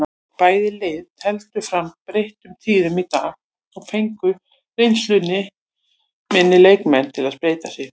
Bæði lið tefldu fram breyttum liðum í dag og fengu reynsluminni leikmenn að spreyta sig.